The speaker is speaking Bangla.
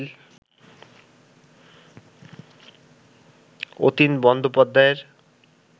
অতীন বন্দ্যোপাধ্যায়ের